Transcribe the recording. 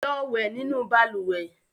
Lọ wẹ̀ nínú balùwẹ̀!